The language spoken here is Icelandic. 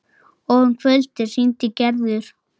Og um kvöldið hringdi Gerður.